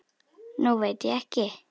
Nú veit ég ekki.